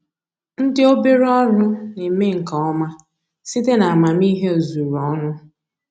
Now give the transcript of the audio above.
Ndị obere ọrụ na-eme nke ọma site n'amamihe ozuru ọnụ